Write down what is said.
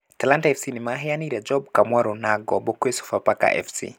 Talanta FC nĩmaheanire Job Kamwaro na ngombo gwĩ Sofapaka FC